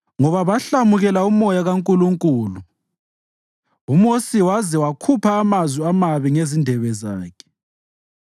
ngoba bahlamukela uMoya kaNkulunkulu, uMosi waze wakhupha amazwi amabi ngezindebe zakhe.